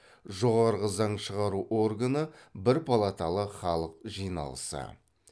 жоғарғы заң шығару органы бір палаталы халық жиналысы